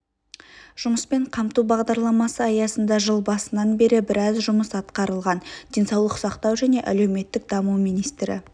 жұмыспен қамту бағдарламасы аясында жыл басынан бері біраз жұмыс атқарылған денсаулық сақтау және әлеуметтік даму министрі